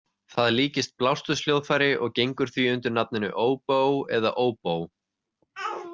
Það líkist blásturshljóðfæri og gengur því undir nafninu OBOE eða óbó.